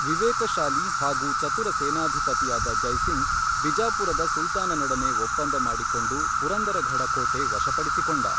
ವಿವೇಕಶಾಲಿ ಹಾಗೂ ಚತುರ ಸೇನಾಧಿಪತಿಯಾದ ಜೈಸಿಂಗ್ ಬಿಜಾಪುರದ ಸುಲ್ತಾನನೊಡನೆ ಒಪ್ಪಂದ ಮಾಡಿಕೊಂಡು ಪುರಂದರಘಡಕೋಟೆ ವಶಪಡಿಸಿಕೊಂಡ.